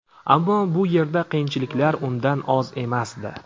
Ammo bu yerda qiyinchiliklar undan oz emasdi.